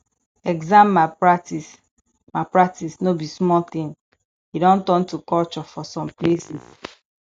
exam malpractice malpractice no be small thing e don turn to culture for some places